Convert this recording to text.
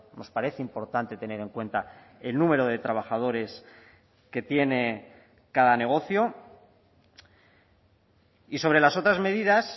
nos parece importante tener en cuenta el número de trabajadores que tiene cada negocio y sobre las otras medidas